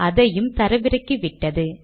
அதையும் தரவிறக்கிவிட்டது